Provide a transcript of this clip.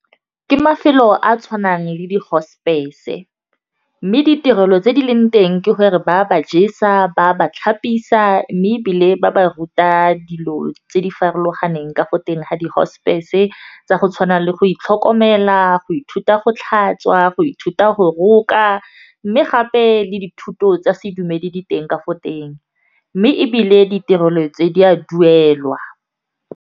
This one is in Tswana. Ke mafelo a a tshwanang le dihosepese, mme ditirelo tse di leng teng ke gore ba ba jesa, ba ba tlhapisa mme ebile ba ba ruta dilo tse di farologaneng ka ko teng ha dihosepese, tsa go tshwana le go itlhokomela, go ithuta go tlhatswa, go ithuta go roka, mme gape le dithuto tsa sedumedi diteng ka fo teng mme ebile ditirelo tse di a duelwa.